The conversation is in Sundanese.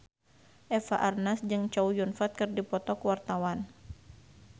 Eva Arnaz jeung Chow Yun Fat keur dipoto ku wartawan